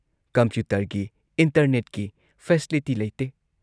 ꯀꯝꯄ꯭ꯌꯨꯇꯔꯒꯤ, ꯏꯟꯇꯔꯅꯦꯠꯀꯤ ꯐꯦꯁꯤꯂꯤꯇꯤ ꯂꯩꯇꯦ ꯫